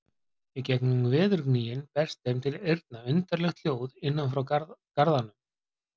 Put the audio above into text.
Í gegnum veðurgnýinn berst þeim til eyrna undarlegt hljóð innan frá garðanum.